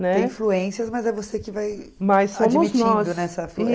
Tem influências, mas é você que vai